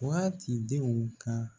Waati denw ka